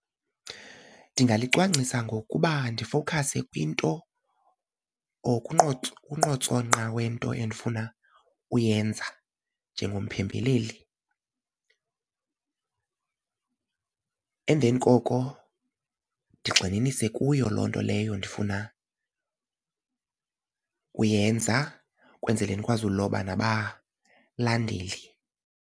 Ndingalicwangcisa ngokuba ndifokhase kwinto or kunqotsonqa wento endifuna uyenza njengomphembeleli. Emveni koko ndigxininise kuyo loo nto leyo ndifuna uyenza kwenzele ndikwazi uloba nabalandeli.